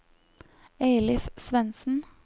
Eilif Svendsen